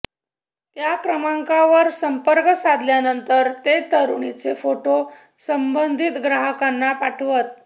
त्या क्रमांकावर संपर्क साधल्यानंतर ते तरुणींचे फोटो संबंधित ग्राहकांना पाठवत